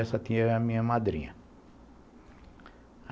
Essa tia é a minha madrinha.